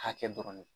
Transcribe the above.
Hakɛ dɔrɔn de